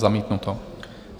Zamítnuto.